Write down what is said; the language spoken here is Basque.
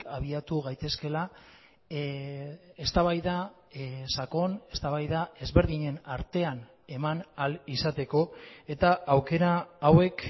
abiatu gaitezkeela eztabaida sakon eztabaida ezberdinen artean eman ahal izateko eta aukera hauek